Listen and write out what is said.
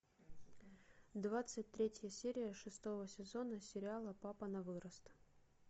двадцать третья серия шестого сезона сериала папа на вырост